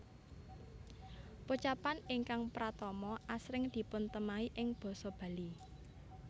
Pocapan ingkang pratama asring dipuntemahi ing basa Bali